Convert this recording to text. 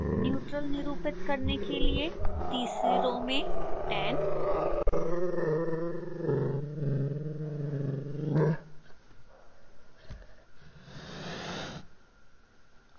neutral निरूपित करने के लिए तीसरी रो में 10